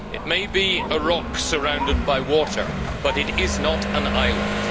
It may be a rock surrounded by water, but it is not an island.